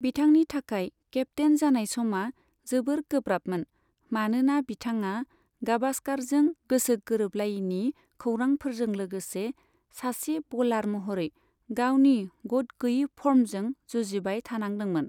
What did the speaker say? बिथांनि थाखाय केप्तेइन जानाय समा जोबोर गोब्राबमोन, मानोना बिथाङा गाभास्कारजों गोसो गोरोबलायैनि खौरांफोरजों लोगोसे सासे बलार महरै गावनि गतगैयै फर्मजों जुजिबाय थानांदोंमोन।